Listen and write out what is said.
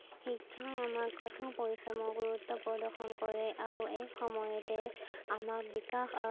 শিক্ষাই আমাক কঠোৰ পৰিশ্ৰমৰ গুৰুত্ব প্ৰদৰ্শন কৰে আৰু এই সময়তে আমাৰ বিকাশ আহ